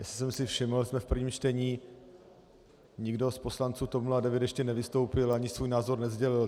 Jestli jsem si všiml, jsme v prvním čtení, nikdo z poslanců TOP 09 ještě nevystoupil ani svůj názor nesdělil.